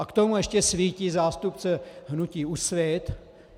A k tomu ještě svítí zástupce hnutí Úsvit.